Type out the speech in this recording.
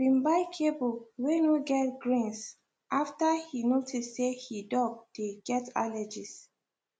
he been buy kibble weu no get grains after he notice say he dog dey get allergies